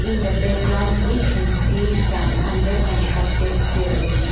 in the background we can see some under constructed building.